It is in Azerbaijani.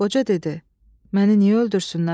Qoca dedi: "Məni niyə öldürsünlər?